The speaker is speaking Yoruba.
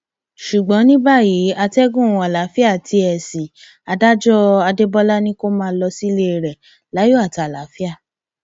ṣùgbọn ní báyìí àtẹgùn àlàáfíà tí ẹ ṣí i adájọ adébólà ni kó máa lọ sílé rẹ láyọ àti àlàáfíà